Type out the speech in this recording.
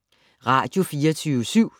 Radio24syv